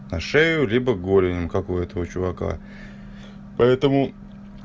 на шею либо голень как у этого чувака поэтому